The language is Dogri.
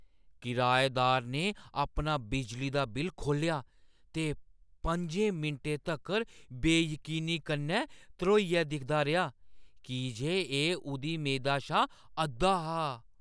किराएदार ने अपना बिजली दा बिल खोह्‌ल्लेआ ते पंजे मिंटें तक्कर बेयकीनी कन्नै ध्रोइयै दिखदा रेहा की जे एह् उʼदी मेदा शा अद्धा हा।